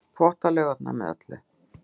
Þvottalaugarnar með öllu.